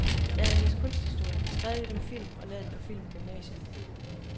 Jeg havde læst kunsthistorie, skrevet lidt om film og lavet et par film i gymnasiet.